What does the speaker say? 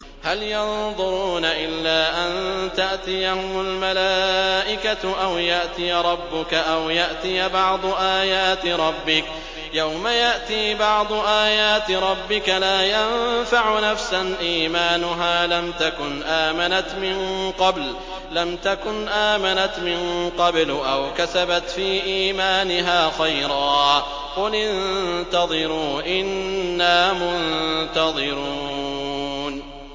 هَلْ يَنظُرُونَ إِلَّا أَن تَأْتِيَهُمُ الْمَلَائِكَةُ أَوْ يَأْتِيَ رَبُّكَ أَوْ يَأْتِيَ بَعْضُ آيَاتِ رَبِّكَ ۗ يَوْمَ يَأْتِي بَعْضُ آيَاتِ رَبِّكَ لَا يَنفَعُ نَفْسًا إِيمَانُهَا لَمْ تَكُنْ آمَنَتْ مِن قَبْلُ أَوْ كَسَبَتْ فِي إِيمَانِهَا خَيْرًا ۗ قُلِ انتَظِرُوا إِنَّا مُنتَظِرُونَ